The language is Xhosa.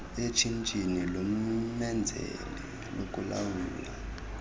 eshishini lommenzeli lokulawula